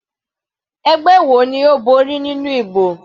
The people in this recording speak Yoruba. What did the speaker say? Ẹgbẹ́ wo ni Ó borí nínú ìbò?